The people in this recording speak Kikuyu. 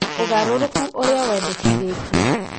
Ũgarũrũku ũrĩa wendekithetio.